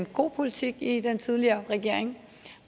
god politik i den tidligere regering